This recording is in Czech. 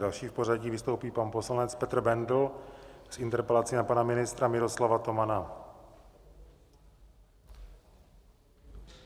Další v pořadí vystoupí pan poslanec Petr Bendl s interpelací na pana ministra Miroslava Tomana.